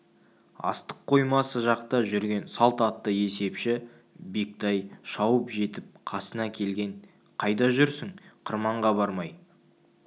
астық қоймасы жақта жүрген салт атты есепші бектай шауып жетіп қасына келген қайда жүрсің қырманға бармай